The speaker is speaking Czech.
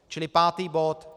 Čili pátý bod.